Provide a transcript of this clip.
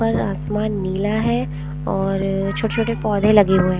पर आसमान नीला हैं और छोटे-छोटे पौधे लगे हुए हैं ।